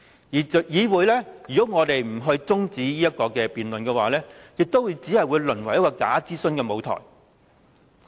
如果議會不提出辯論中止待續的議案，只會淪為假諮詢的舞台。